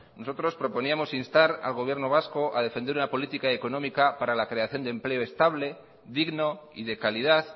nosotros proponíamos instar al gobierno vasco a defender una política económica para la creación de empleo estable digno y de calidad